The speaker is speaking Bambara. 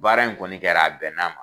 Baara in kɔni kɛra a bɛn n'a ma